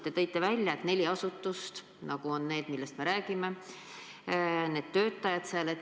Te tõite välja neli asutust, millest me praegu räägime.